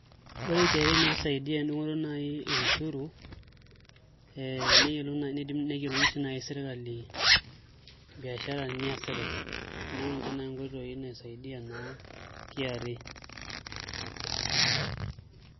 Ore KRA naa kisaidia entumoto naai e ushuru ee niidim naai neyiolouni sii naai sirkali biashara niasita, neekunninche naai nkoitoi naisaidia naa KRA.